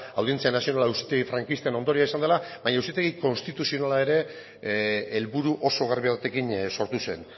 audientzia nazionala auzitegi frankistaren ondorioa izan dela baina auzitegi konstituzionala ere helburu oso garbi batekin sortu zen